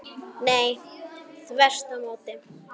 Nei, þvert á móti.